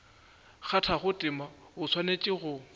kgathago tema o swanetše go